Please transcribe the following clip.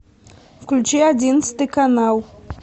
включи одиннадцатый канал